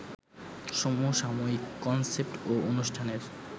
সমসাময়িক কনসেপ্ট ও অনুষ্ঠানের